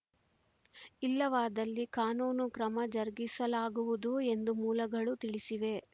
ಇಲ್ಲವಾದ್ದಲ್ಲಿ ಕಾನೂನು ಕ್ರಮ ಜರುಗಿಸಲಾಗುವುದು ಎಂದು ಮೂಲಗಳು ತಿಳಿಸಿವೆ